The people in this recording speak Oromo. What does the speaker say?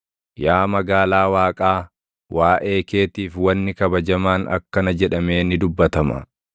Yaa magaalaa Waaqaa, waaʼee keetiif wanni kabajamaan akkana jedhamee ni dubbatama: